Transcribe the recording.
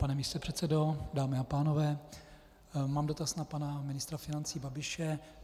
Pane místopředsedo, dámy a pánové, mám dotaz na pana ministra financí Babiše.